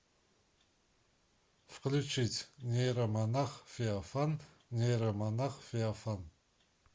включить нейромонах феофан нейромонах феофан